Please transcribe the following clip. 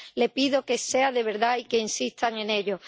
Le pido que sea de verdad y que insistan en ello.